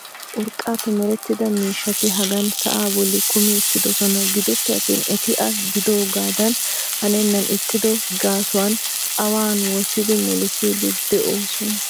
urqaappe meretida miishshati hagan sa'aa bolli kummi uttidosona. gidoppe attin eti a giidoogaadan hannennan ixxido gaasuwan awan wottidi melisiidi doosona.